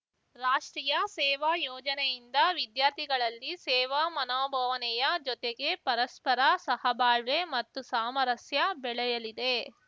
ರಾಷ್ಟ್ರೀಯ ಸೇವಾ ಯೋಜನೆಯಿಂದ ವಿದ್ಯಾರ್ಥಿಗಳಲ್ಲಿ ಸೇವಾ ಮನೋಭಾವನೆಯ ಜೊತೆಗೆ ಪರಸ್ಪರ ಸಹಬಾಳ್ವೆ ಮತ್ತು ಸಾಮರಸ್ಯ ಬೆಳೆಯಲಿದೆ